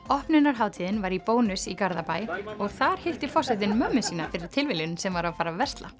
opnunarhátíðin var í Bónus í Garðabæ og þar hitti forsetinn móður sína fyrir tilviljun sem var að fara að versla